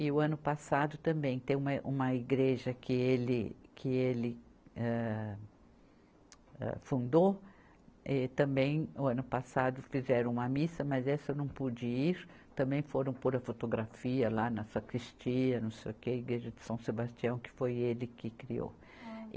E o ano passado também, tem uma, uma igreja que ele, que ele, âh, âh, fundou, e também o ano passado fizeram uma missa, mas essa eu não pude ir, também foram por a fotografia lá na Sacristia, não sei o quê, Igreja de São Sebastião, que foi ele que criou.